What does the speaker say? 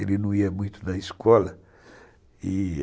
Ele não ia muito na escola e